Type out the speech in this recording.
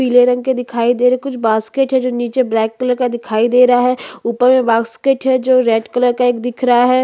पीले रंग के दिखाई दे रहे है और सेब है जो हरे लाल रंग के दिखाई दे रहे है निचे भी केले रखे गए है जो --